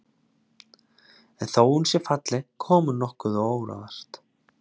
En þó að hún sé falleg kom hún honum nokkuð á óvart.